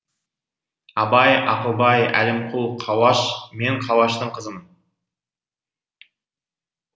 абай ақылбай әлімқұл қауаш мен қауаштың қызымын